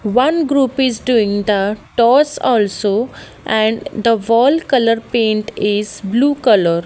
one group is doing the toss also and the wall colour paint is blue colour.